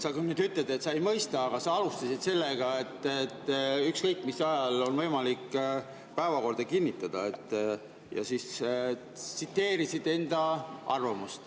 Sa küll ütled, et sa ei mõista, aga sa alustasid sellega, et ükskõik mis ajal on võimalik päevakorda kinnitada, ja siis tsiteerisid enda arvamust.